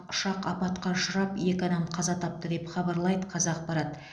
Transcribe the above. ұшақ апатқа ұшырап екі адам қаза тапты деп хабарлайды қазақпарат